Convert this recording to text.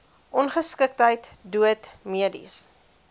ongeskiktheid dood mediese